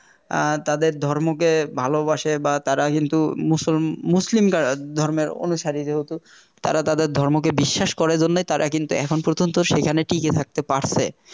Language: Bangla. অ্যাঁ তাদের ধর্মকে ভালোবাসে বা তারা হিন্দু মুসল~ মুসলিম ধর্মের অনুসারী যেহেতু তারা তাদের ধর্মকে বিশ্বাস করে জন্যই তারা কিন্তু এখন পর্যন্ত সেখানে টিকে থাকতে পারছে